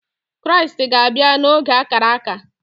Kraịst ga-abịa n’oge ákárà ákà